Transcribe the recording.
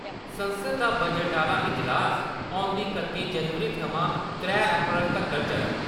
संसद दा बजट आह्ला इजलास औंदी कत्ती जनवरी थमां त्रै अप्रैल तक्कर चलग।